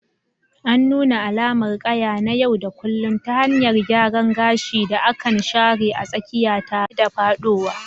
An nuna alamar ƙaya na yau da kullun ta hanyar gyaran gashin da aka share a tsakiya, tare da faɗowa.